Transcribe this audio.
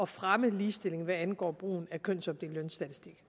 fremme ligestilling hvad angår brugen af kønsopdelt lønstatistik